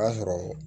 O y'a sɔrɔ